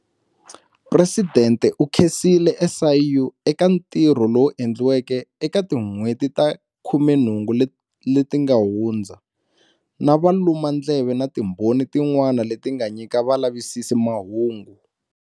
Presidente u khensile SIU eka ntirho lowu endliweke eka tin'hweti ta 18 leti nga hundza, na valumandleve na timbhoni tin'wana leti nga nyika valavisisi mahungu.